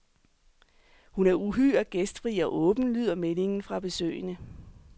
Hun er uhyre gæstfri og åben, lyder meldingen fra besøgende.